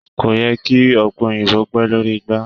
kò yẹ kí Ọ̀pẹ̀ Òyìnbó pẹ̀ lórí igbá.